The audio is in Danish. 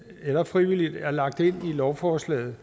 eller frivilligt er lagt ind i lovforslaget